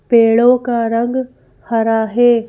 पेड़ों का रंग हरा है।